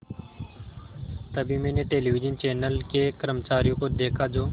तभी मैंने television channel के कर्मचारियों को देखा जो